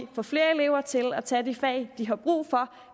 få flere elever til at tage de fag de har brug for